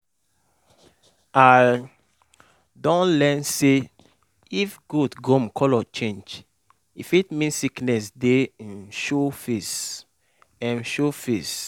i um don learn say if goat gum color change e fit mean sickness dey um show face. um show face.